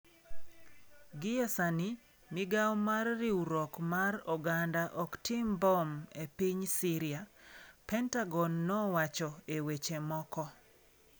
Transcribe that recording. Gie sani, Migawo mar Riwruok mar Oganda ok tim mbom e piny Syria, Pentagon nowacho e weche moko.